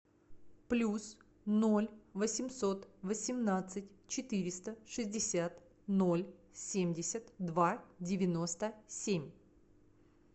плюс ноль восемьсот восемнадцать четыреста шестьдесят ноль семьдесят два девяносто семь